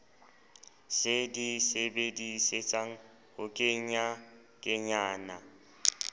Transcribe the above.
se di sebedisetsang ho kenyakenyana